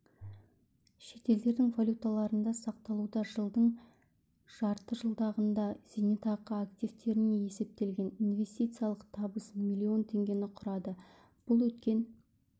шетелдердің валюталарында сақталуда жылдың жартыжылдығында зейнетақы активтеріне есептелген инвестициялық табыс миллион теңгені құрады бұл өткен